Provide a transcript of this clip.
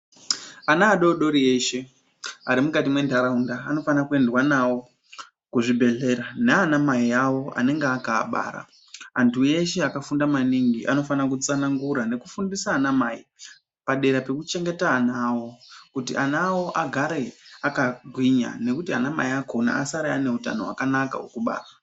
Ana adodori eshe ari mukati mwenharaunda anofanira kuendwa navo kuzvibhedhlera nana mai avo anenge aka abara, antu eshe akabara anofana kutsanangura kufundisa ana mai padera pekuchengeta ana avo kuti ana avo agare akagwinya nekuti anamai akhona asare ane hutano hwakanaka hwekubara.